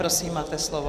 Prosím, máte slovo.